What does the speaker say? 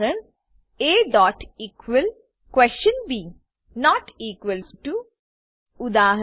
aeqlબી not equals ટીઓ not equals to ઉદા